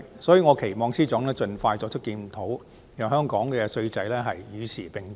所以，我期望司長盡快作出檢討，讓香港的稅制與時並進。